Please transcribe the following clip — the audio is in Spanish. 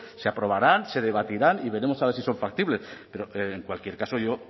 se aprobarán se debatirán y veremos a ver si eso es factible pero en cualquier caso yo